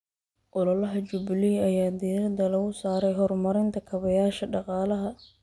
Ololaha Jubilee ayaa diiradda lagu saaray horumarinta kaabayaasha dhaqaalaha.